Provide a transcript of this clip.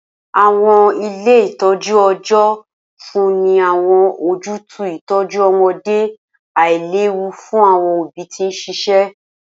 Awọn ile itọju ọjọ nfunni ni awọn ojutu itọju ọmọde ailewu fun awọn obi ti n ṣiṣẹ.